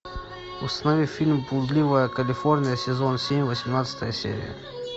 установи фильм блудливая калифорния сезон семь восемнадцатая серия